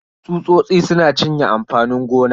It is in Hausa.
Tsusosi suna cinye amfanin gona.